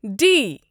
D